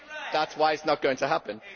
That is why it is not going to happen.